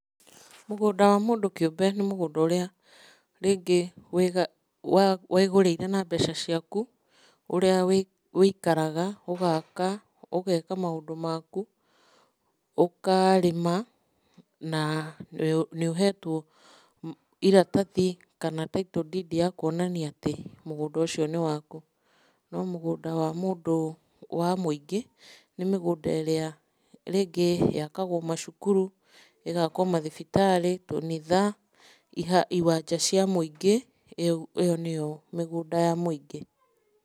Mũgũnda wa mũndũ kĩũmbe nĩ mũgũnda ũrĩa rĩngĩ wĩgũrĩire na mbeca ciaku, ũrĩa wũikaraga, ũgaka, ũgeka maũndũ maku, ũkarĩma ma nĩ ũhetwo iratathi kana Title Deed ya kuonania atĩ, mũgũnda ũcio nĩ waku no mũgũnda wa mũndũ mũingĩ nĩ mĩgũnda ĩrĩa rĩngĩ yakagwo macukuru, ĩgakwo mathibitarĩ, tũnitha, iwanja cia mũingĩ ĩyo nĩyo iwanja cia mũingĩ.